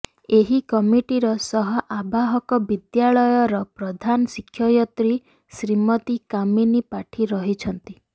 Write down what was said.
ଏହି କମିଟିର ସହ ଆବାହକ ବିଦ୍ୟାଳୟର ପ୍ରଧାନ ଶିକ୍ଷୟତ୍ରୀ ଶ୍ରୀମତୀ କାମିନୀ ପାଠୀ ରହିଛନ୍ତି